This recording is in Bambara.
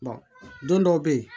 don dɔw bɛ yen